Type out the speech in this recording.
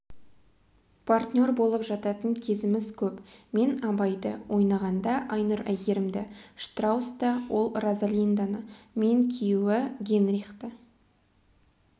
партнер болып жататын кезіміз көп мен абайды ойнағанда айнұр әйгерімді штрауста ол розалинданы мен күйеуі генрихты